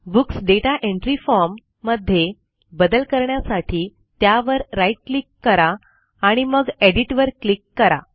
books data entry form मध्ये बदल करण्यासाठी त्यावर राईट क्लिक करा आणि मग एडिट वर क्लिक करा